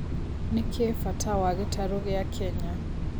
nĩ kĩĩ bata wa gĩtarũ gĩa kenya